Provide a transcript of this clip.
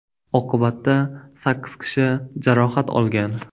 Oqibatda sakkiz kishi jarohat olgan.